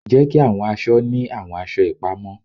Jeki awọn aṣọ ni awọn aṣọ ipamọ